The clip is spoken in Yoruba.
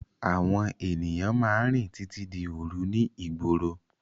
Àwọn ènìyàn máa ń rìn títí di òru ní ìgboro.